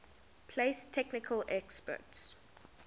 place technical experts